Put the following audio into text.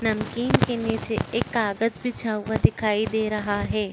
नमकीन के निचे एक कागज बिछा हुआ दिखाई दे रहा है।